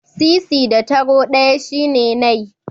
Sisi da taro ɗaya shine nai.